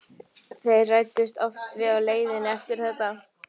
Þeir ræddust oft við á leiðinni eftir þetta.